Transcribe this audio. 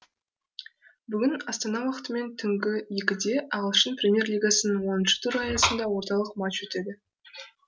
бүгін астана уақытымен түнгі екіде ағылшын премьер лигасының оныншы туры аясында орталық матч өтеді